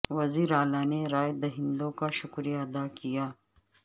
وزیر اعلی نے رائے دہندوں کا شکریہ ادا کیا